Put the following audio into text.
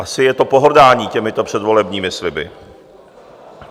Asi je to pohrdání těmito předvolebními sliby.